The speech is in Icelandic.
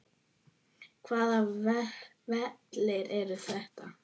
Hvaða vellir eru þetta?